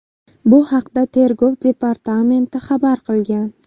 Bu haqda Tergov departamenti xabar qilgan .